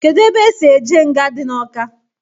Kedụ ebe esi eje nga dị n'Ọka?